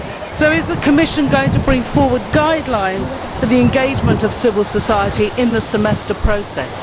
So is the Commission going to bring forward guidelines for the engagement of civil society in the Semester process?